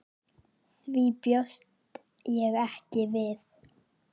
Því bjóst ég ekki við.